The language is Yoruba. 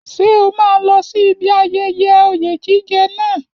Ṣé o máa lọ sí ibi ayẹyẹ oyè jíjẹ náà?